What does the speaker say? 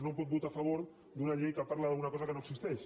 no pot votar a favor d’una llei que parla d’una cosa que no existeix